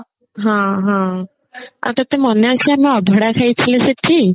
ହଁ ହଁ ଆଉ ତତେ ମନେ ଅଛି ଆମେ ଅଭଡା ଖାଇଥିଲେ ସେଠି